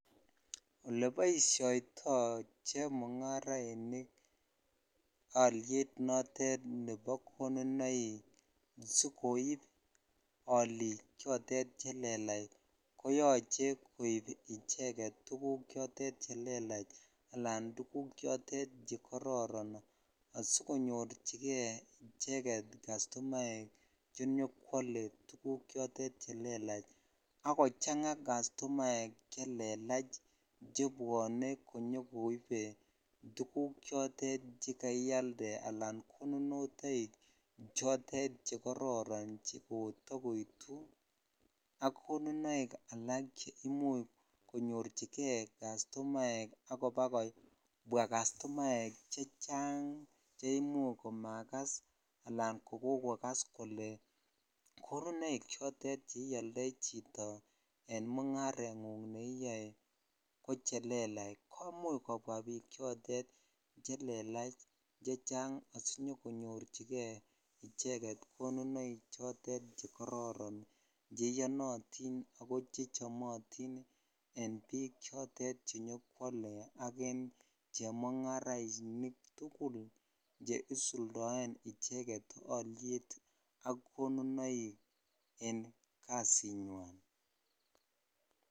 Ole boumishoitoi chemong'arainik olyet nitet nebo konunoik sikoib olik chotet chelelach ko yoche koib icheket tukuk chelelach alan tukuk choton chekororon asikonyorchijei icheket custumaek chenyokwole tukuk chitet chelelach ak kochangaa custumaek chelelach chebwone konyokoibe tukuk chotet chekaialde al konunotoik chekororon chekotakoitu ak konunoik alak che imuch konyorchinen custumaek ak kobakokwaa custumaek chechang che imuch komakas ala kokokokas kole konunoik chotet cheioldoi chetoem en mong'arengung neiyoe ko chelelach komuch kobwaa biik chotet chelelach chechang asinyokonyorchikei icheket konunoik chotet chekororon cheiyonotin ako chechomotin en biik choton chenyokwole ak chemung'arainik tukul che usuldoen icheket olyet ak konunoik en Kasinywan.